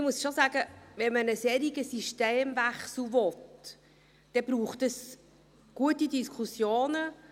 Ich muss schon sagen: Wenn man einen solchen Systemwechsel will, dann braucht es gute Diskussionen.